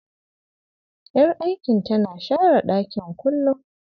Yar aikin tana share ɗakin kullum.